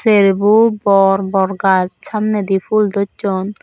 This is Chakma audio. cherbo bor bor gach samnedi ful dosson.